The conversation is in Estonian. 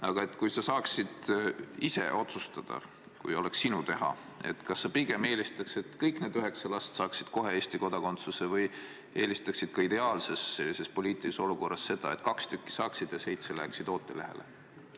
Aga kui sa saaksid ise otsustada, kui oleks sinu teha, kas sa pigem eelistaks, et kõik need üheksa last saaksid kohe Eesti kodakondsuse, või eelistaksid ka ideaalses poliitilises olukorras seda, et kaks tükki saaksid ja seitse läheksid ootelehele?